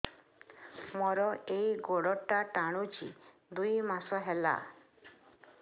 ମୋର ଏଇ ଗୋଡ଼ଟା ଟାଣୁଛି ଦୁଇ ମାସ ହେଲା